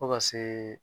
Fo ka se